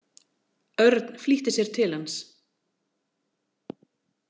Örn flýtti sér til hans.